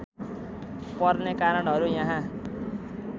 पर्ने कारणहरू यहाँ